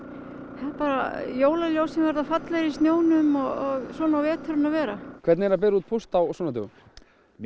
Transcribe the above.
nei jólaljósin verða fallegri í snjónum og svona á veturinn að vera hvernig er að bera út póst á svona dögum mér